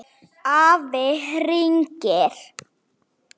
Afi hringir